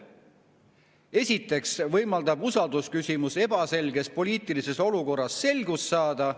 Esiteks võimaldab usaldusküsimus ebaselges poliitilises olukorras selgust saada.